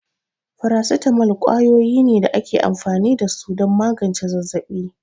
Faracetamol kwayoyi ne da ake amfani da su don magance zazzabi.